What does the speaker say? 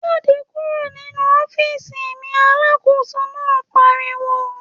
‘Jáde kúrò nínú ó̩fíìsì mi!’ alákóso náà pariwo